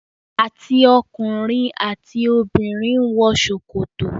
àti ọkùnrin àti obìnrin wọ sokoto.